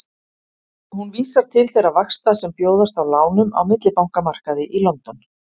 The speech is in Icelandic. Hún vísar til þeirra vaxta sem bjóðast á lánum á millibankamarkaði í London.